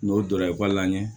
N'o donna ekɔli la ɲɛ